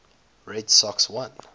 red sox won